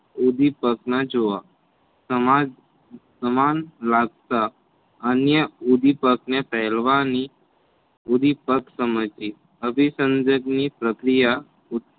ઉંધીપગમાં જોવા સમાજ સમાન લાગતા અન્ય ઉંધીપગ ને પહેરવાની ઉંધીપગ સમજીએ અભીસંધક ની પ્રક્રિયા